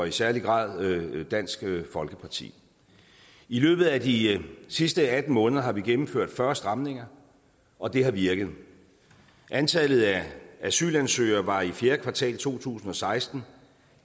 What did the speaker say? i særlig grad dansk folkeparti i løbet af de sidste atten måneder har vi gennemført fyrre stramninger og det har virket antallet af asylansøgere var i fjerde kvartal to tusind og seksten